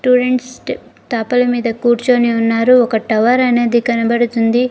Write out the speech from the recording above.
మీద కూర్చొని ఉన్నారు ఒక టవర్ అనేది కనపడుతుంది.